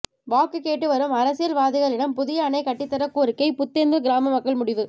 வாக்கு கேட்டு வரும் அரசியல் வாதிகளிடம் புதிய அணை கட்டித்தர கோரிக்கை புத்தேந்தல் கிராம மக்கள் முடிவு